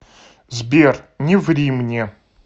сбер не ври мне